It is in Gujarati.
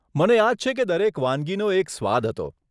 મને યાદ છે કે દરેક વાનગીનો એક સ્વાદ હતો.